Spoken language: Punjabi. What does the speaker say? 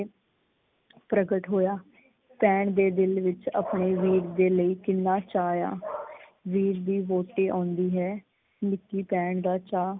ਪ੍ਰਗਟ ਹੋਇਆ ਭੈਣ ਦੇ ਦਿਲ ਵਿੱਚ ਆਪਣੇ ਵੀਰ ਦੇ ਲਈ ਕਿੰਨਾ ਚਾਅ ਆ ।ਵੀਰ ਦੀ ਵਹੁਟੀ ਆਉਂਦੀ ਹੈ ਨਿੱਕੀ ਭੈਣ ਦਾ ਚਾਅ।